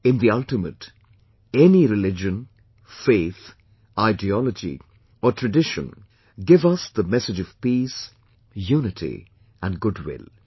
In the ultimate , any religion, faith, ideology or tradition give us the message of peace, unity and goodwill